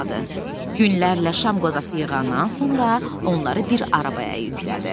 Günlərlə şam qozası yığandan sonra onları bir arabağa yüklətdi.